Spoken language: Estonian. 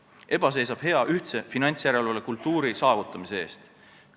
EBA seisab hea ühtse finantsjärelevalve kultuuri saavutamise eest.